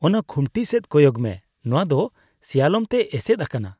ᱚᱱᱟ ᱠᱷᱩᱱᱴᱤ ᱥᱮᱡ ᱠᱚᱭᱚᱜ ᱢᱮ ᱾ ᱱᱚᱣᱟ ᱫᱚ ᱥᱮᱭᱟᱞᱚᱢᱛᱮ ᱮᱥᱮᱫ ᱟᱠᱟᱱᱟ ᱾